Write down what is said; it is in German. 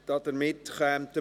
2019.RRGR.288